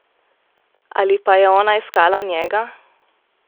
Ali pa je ona iskala njega?